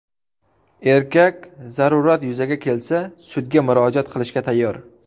Erkak zarurat yuzaga kelsa, sudga murojaat qilishga tayyor.